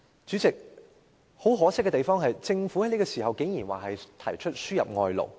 主席，很可惜的是，政府此時竟然提出輸入外勞。